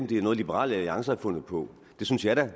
det er noget liberal alliance har fundet på det synes jeg da